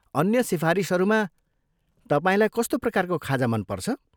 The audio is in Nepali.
अन्य सिफारिसहरूमा, तपाईँलाई कस्तो प्रकारको खाजा मनपर्छ?